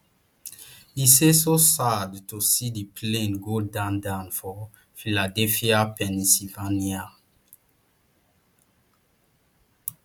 e say so sad to see di plane go down down for philadelphia pennsylvania